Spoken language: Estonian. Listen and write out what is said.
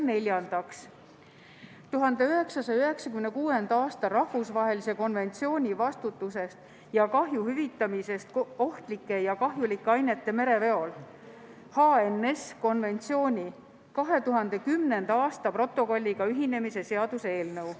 Neljandaks, 1996. aasta rahvusvahelise konventsiooni vastutusest ja kahju hüvitamisest ohtlike ja kahjulike ainete mereveol 2010. aasta protokolliga ühinemise seaduse eelnõu.